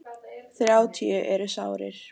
Þrjátíu eru sárir.